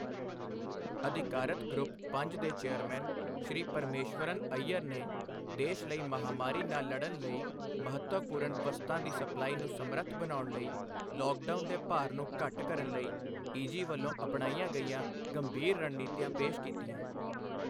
ਅਧਿਕਾਰਤ ਗਰੁੱਪ ਪੰਜ ਦੇ ਚੇਅਰਮੈਨ ਸ਼੍ਰੀ ਪਰਮੇਸ਼ਵਰਨ ਅਈਅਰ ਨੇ ਦੇਸ਼ ਲਈ ਮਹਾਮਾਰੀ ਨਾਲ ਲੜਨ ਲਈ ਮਹੱਤਵਪੂਰਨ ਵਸਤਾਂ ਦੀ ਸਪਲਾਈ ਨੂੰ ਸਮਰੱਥ ਬਣਾਉਣ ਲਈ ਲੌਕਡਾਊਨ ਦੇ ਭਾਰ ਨੂੰ ਘੱਟ ਕਰਨ ਲਈ ਈਜੀ ਵੱਲੋਂ ਅਪਣਾਈਆਂ ਗਈਆਂ ਗੰਭੀਰ ਰਣਨੀਤੀਆਂ ਪੇਸ਼ ਕੀਤੀਆਂ।